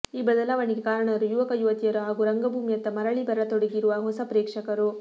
ಈ ಬದಲಾವಣೆಗೆ ಕಾರಣರು ಯುವಕ ಯುವತಿಯರು ಹಾಗೂ ರಂಗಭೂಮಿಯತ್ತ ಮರಳಿ ಬರತೊಡಗಿರುವ ಹೊಸ ಪ್ರೇಕ್ಷಕರು